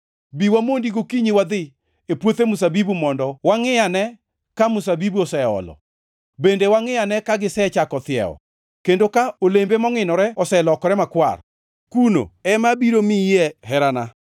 Bi wamondi gokinyi wadhi, e puothe mzabibu mondo wangʼiane, ka mzabibu oseolo, bende wangʼiane ka gisechako thiewo, kendo ka olembe mongʼinore oselokore makwar; kuno, ema abiro miyie herana.